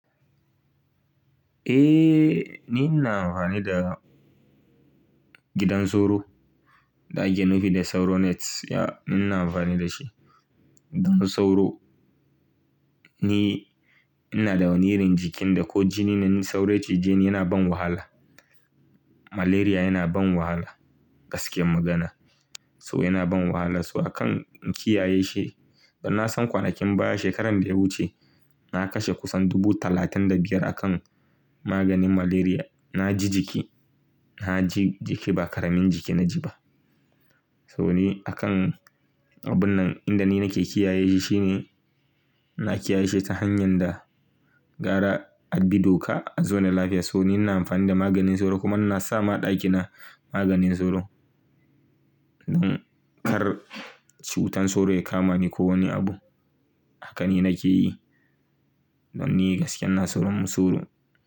Eh, ni ina amfani da gidan sauro da ake nufi da sauro net. Ya, ni ina amfani da shi. Don sauro ni ina da wani irin jikin da ko jini na sauro ya cije ni yana ban wahala. Malaria yana ban wahala gaskiyan magana. So yana ban wahala. So akan in kiyaye shi. Ban san kwanakin baya shekaran da ya wuce na kashe kusan dubu talatin da biyar akan maganin malaria. Na ji jiki, na ji jiki ba ƙaramin jiki na ji ba. So ni akan abun nan inda ni nake kiyaye shi shine na kiyaye shi ta hanyar da gara a bi doka a zaune lafiya. So ni ina amfani da maganin sauro kuma ina sa ma ɗaki na maganin sauro. Don kar cutar sauro ya kama ni ko wani abu. Haka ne nake yi. Don ni gaskiya na tsoron mu sauro.